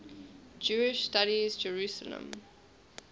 jewish studies jerusalem